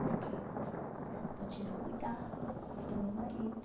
Porque porque eu tive que cuidar do meu marido.